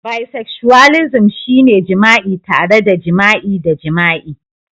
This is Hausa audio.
Bisexualism shine jima'i tare da jima'i da jima'i